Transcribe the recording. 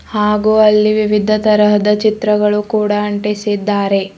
ಹಾಗು ಅಲ್ಲಿ ವಿವಿಧ ತರಹದ ಚಿತ್ರಗಳು ಕೂಡ ಅಂಟಿಸಿದ್ದಾರೆ.